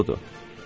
Qorxuludur.